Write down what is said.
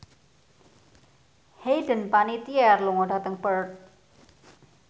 Hayden Panettiere lunga dhateng Perth